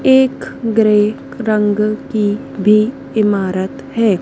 एक ग्रे रंग की भी इमारत है।